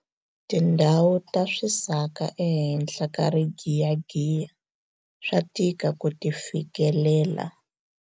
tindhawu ta swisaka ehenhla ka rigiyagiya swa tika ku ti fikelela